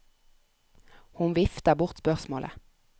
Hun vifter bort spørsmålet.